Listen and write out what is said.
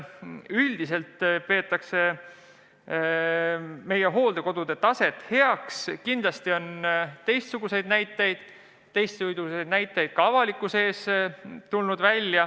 Üldiselt peetakse meie hooldekodude taset heaks, aga kindlasti on teistsuguseidki näiteid, millest ka avalikkus teada on saanud.